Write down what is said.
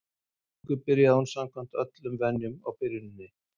Að endingu byrjaði hún samkvæmt öllum venjum á byrjuninni.